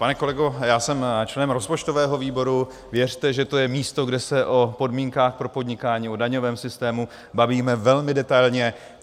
Pane kolego, já jsem členem rozpočtového výboru, věřte, že to je místo, kde se o podmínkách pro podnikání, o daňovém systému bavíme velmi detailně.